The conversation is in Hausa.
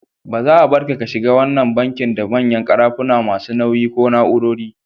Ba za'a Barka ka shiga ko wanna banki da manyan karafuna masu nauyi ko na'urori.